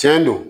Tiɲɛ don